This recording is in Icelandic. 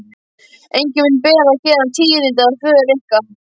Enginn mun bera héðan tíðindi af för ykkar.